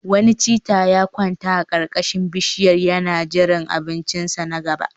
Wani cheetah ya kwanta a karkashin bishiyar yana jiran abincinsa na gaba